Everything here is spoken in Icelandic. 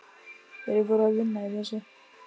Þeir voru að vinna í þessu.